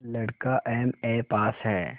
लड़का एमए पास हैं